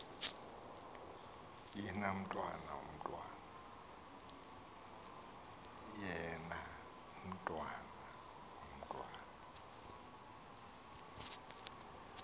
yina mntwan omntwan